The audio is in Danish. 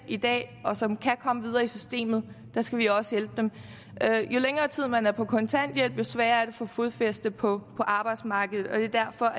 og som kan komme videre i systemet skal vi også hjælpe jo længere tid man er på kontanthjælp jo sværere er det at få fodfæste på arbejdsmarkedet og det er derfor